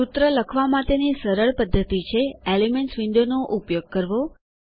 સૂત્ર લખવા માટેની સરળ પદ્ધતિ છે એલિમેન્ટ્સ windowએલીમેન્ટ્સ વિન્ડોવનો ઉપયોગ કરવો